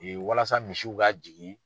walasa misiw ka jigin